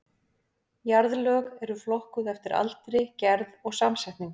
Jarðlög eru flokkuð eftir aldri, gerð og samsetningu.